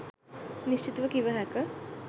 නිශ්චිතව කිව හැක.